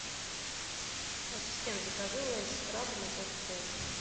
ассистент закажи лейс с крабом и кока колу